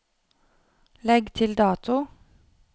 Legg til dato